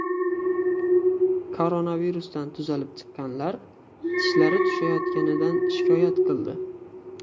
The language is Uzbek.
Koronavirusdan tuzalib chiqqanlar tishlari tushayotganidan shikoyat qildi.